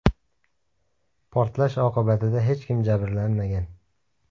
Portlash oqibatida hech kim jabrlanmagan.